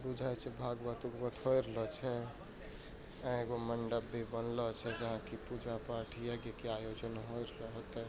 पूजा छे भागवत वागवत हो रहल छे एगो मंडप भी बनलो छे जहा की पूजा पाठ यज्ञ का आयोजन होते --